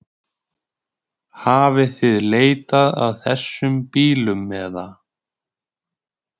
Hafið þið leitað að þessum bílum eða?